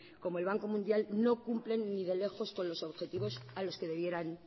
como el banco mundial no cumplen ni de lejos con los objetivos a los que debieran